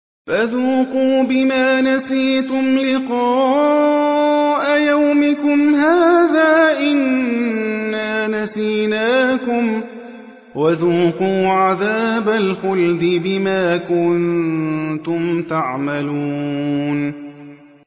فَذُوقُوا بِمَا نَسِيتُمْ لِقَاءَ يَوْمِكُمْ هَٰذَا إِنَّا نَسِينَاكُمْ ۖ وَذُوقُوا عَذَابَ الْخُلْدِ بِمَا كُنتُمْ تَعْمَلُونَ